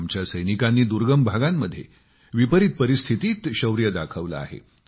आमच्या सैनिकांनी दुर्गम भागांमध्ये विपरीत परिस्थितींत शौर्य दाखवलं आहे